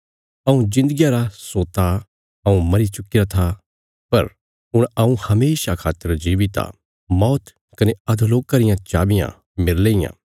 हऊँ जिन्दगिया रा सोता हऊँ मरी चुक्कीरा था पर हुण हऊँ हमेशा खातर जीवित आ मौत कने अधोलोका रियां चाबियाँ मेरले इयां